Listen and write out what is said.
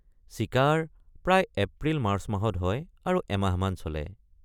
চিকাৰ প্ৰায় April March মাহত হয় আৰু এমাহমান চলে।